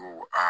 Ko aa